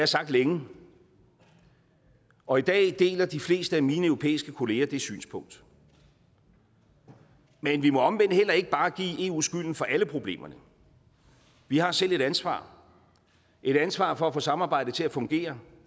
sagt længe og i dag deler de fleste af mine europæiske kolleger det synspunkt men vi må omvendt heller ikke bare give eu skylden for alle problemerne vi har selv et ansvar et ansvar for at få samarbejdet til at fungere